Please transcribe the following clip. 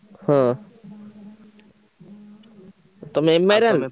ହଁ ତମେ MI ର ଆଇଂଲ?